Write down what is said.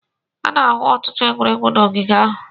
A na-ahụ ọtụtụ egwuregwu n'ogige ahụ.